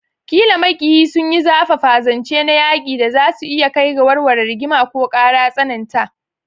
Ƙila maƙiyi sun yi zafafa, zance na yaƙi da za su iya kai ga warware rigima ko ƙara tsananta.